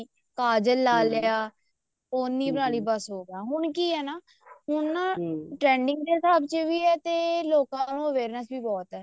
ਕਾਜਲ ਲਾਲਿਆ ਪੋਨੀ ਬਣਾ ਲਈ ਬੱਸ ਹੋਗਿਆ ਹੁਣ ਕੀ ਹੈ ਨਾ trending ਦੇ ਹਿਸਾਬ ਚ ਵੀ ਹੈ ਤੇ ਲੋਕਾਂ ਨੂੰ ਵੀ awareness ਬਹੁਤ ਹੈ